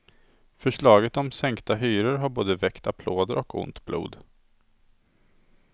Förslaget om sänkta hyror har både väckt applåder och ont blod.